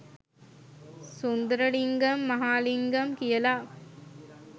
සුන්දරලිංගම් මහාලිංගම් කියලා.